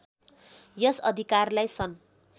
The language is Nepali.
यस अधिकारलाई सन्